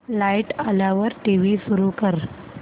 light आल्यावर TV सुरू कर